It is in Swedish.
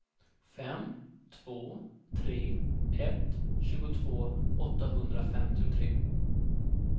fem två tre ett tjugotvå åttahundrafemtiotre